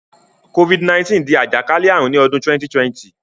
COVID-19 dí àjàkálẹ̀ àrùn ni odún 2020